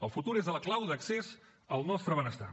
el futur és la clau d’accés al nostre benestar